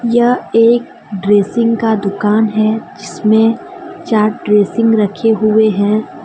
यह एक ड्रेसिंग का दुकान है जिसमें चार ड्रेसिंग रखे हुए हैं।